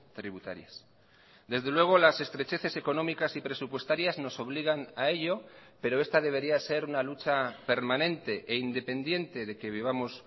tributarias desde luego las estrecheces económicas y presupuestarias nos obligan a ello pero esta debería ser una lucha permanente e independiente de que vivamos